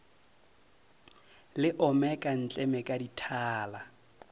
le omeka ntleme ka dithala